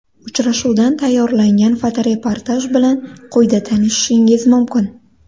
Uchrashuvdan tayyorlangan fotoreportaj bilan quyida tanishishingiz mumkin.